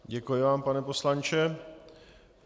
Děkuji vám, pane poslanče.